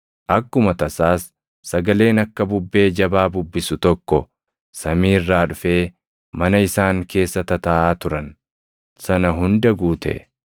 Akkuma tasaas sagaleen akka bubbee jabaa bubbisu tokko samii irraa dhufee mana isaan keessa tataaʼaa turan sana hunda guute.